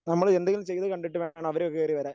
നമ്മള് എന്തെങ്കിലും ചെയ്തു കണ്ടിട്ട് വേണം അവര് കേറി വരാൻ.